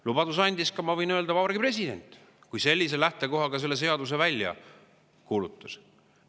Lubaduse andis ka, ma võin öelda, Vabariigi President, kui ta sellise lähtekohaga selle seaduse välja kuulutas.